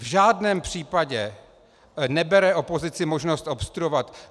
V žádném případě nebere opozici možnost obstruovat.